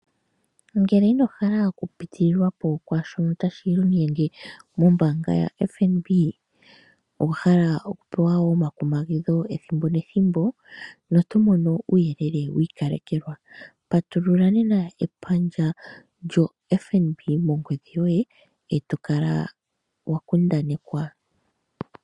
Ngele ino hala oku pitililwa po kwaashono tashi inyenge mombaanga yaFNB, owa hala wo oku pewa omakumagidho ethimbo nethimbo noto mono uuyelele wi ikalekelwa, patulula nena epandja lyoye lyoFNB mongodhi yoye e to kala wa kundanekwa.